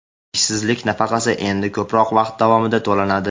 Ishsizlik nafaqasi endi ko‘proq vaqt davomida to‘lanadi.